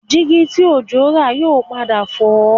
Dígí tí Òjó rà yóò padà fọ́